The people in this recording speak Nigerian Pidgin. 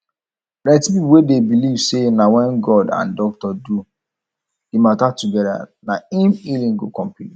plenty people dey believe say na when god and doctor do the matter together na im healing go complete